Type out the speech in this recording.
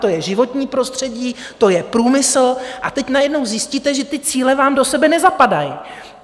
To je životní prostředí, to je průmysl, a teď najednou zjistíte, že ty cíle vám do sebe nezapadají.